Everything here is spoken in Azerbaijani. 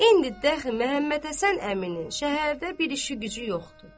İndi dəxi Məmmədhəsən əminin şəhərdə bir işi-gücü yoxdur.